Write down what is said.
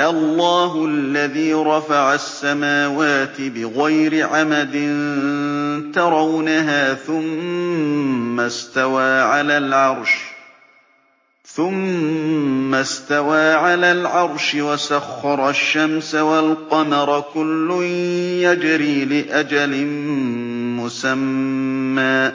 اللَّهُ الَّذِي رَفَعَ السَّمَاوَاتِ بِغَيْرِ عَمَدٍ تَرَوْنَهَا ۖ ثُمَّ اسْتَوَىٰ عَلَى الْعَرْشِ ۖ وَسَخَّرَ الشَّمْسَ وَالْقَمَرَ ۖ كُلٌّ يَجْرِي لِأَجَلٍ مُّسَمًّى ۚ